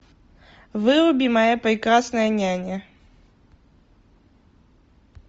выруби моя прекрасная няня